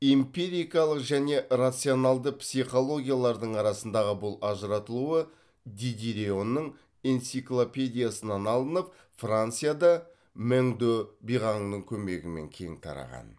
эмпирикалық және рационалды психологиялардың арасындағы бұл ажыратылуы дидьероның энциклопедиясынан алынып францияда мэң дө биғаңның көмегімен кең тараған